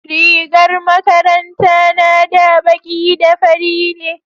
rigar makaranta na na da baƙi da fari ne